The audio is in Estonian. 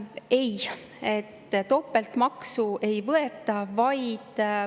Ei, topeltmaksu ei võeta.